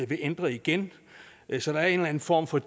vil ændre igen så der er en eller en form for